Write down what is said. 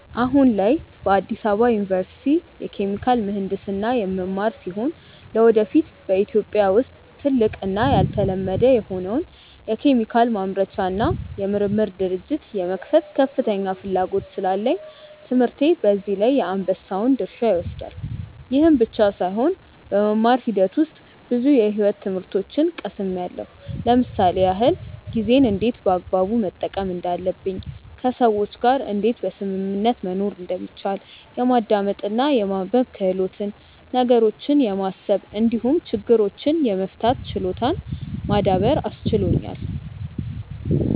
አሁን ላይ በአዲስ አበባ ዩኒቨርሲቲ የኬሚካል ምሕንድስና የምማር ሲሆን ለወደፊት በኢትዮጵያ ውስጥ ትልቅ እና ያልተለመደ የሆነውን የኬሚካል ማምረቻ እና የምርምር ድርጅት የመክፈት ከፍተኛ ፍላጎት ስላለኝ ትምህርቴ በዚህ ላይ የአንበሳውን ድርሻ ይወስዳል። ይህ ብቻም ሳይሆን በመማር ሂደት ውስጥ ብዙ የሕይወት ትምህርቶችን ቀስምያለው ለምሳሌ ያክል፦ ጊዜን እንዴት በአግባቡ መጠቀም እንዳለብኝ፣ ከሰዎች ጋር እንዴት በስምምነት መኖር እንደሚቻል፣ የማዳመጥ እና የማንበብ ክህሎትን፣ ነገሮችን የማሰብ እንዲሁም ችግሮችን የመፍታት ችሎታን ማዳበር አስችሎኛል።